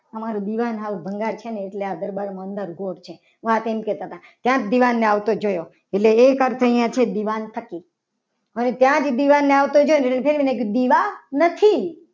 અમારું દિવાન સાવ ભંગાર છે. ને એટલે આ અંધારું ગોટ છે. વાત એમ કરતા હતા. ક્યાંક દીવાને આવતો જોયો એટલે એક અર્થ છે. અહીંયા દિવાન થકી વળી ત્યાં જ દીવાને આવતો જોયો એટલે મેં કીધું દીવા નથી.